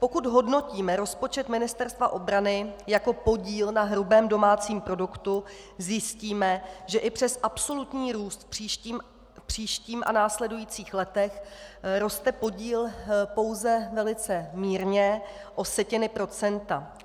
Pokud hodnotíme rozpočet Ministerstva obrany jako podíl na hrubém domácím produktu, zjistíme, že i přes absolutní růst v příštím a následujících letech roste podíl pouze velice mírně o setiny procenta.